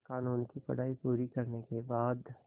क़ानून की पढा़ई पूरी करने के बाद